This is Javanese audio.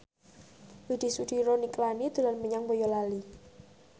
Widy Soediro Nichlany dolan menyang Boyolali